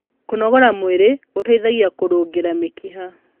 kũnogora mwĩrĩ gũteithagia kurungirĩa mĩkiha